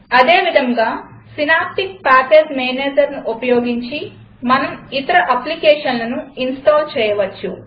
ఇదేవిధంగా Synaptic package Managerను ఉపయోగించి మనం ఇతర అప్లికేషన్లను ఇన్స్టాల్ చేయవచ్చు